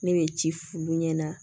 Ne bɛ ci f'olu ɲɛna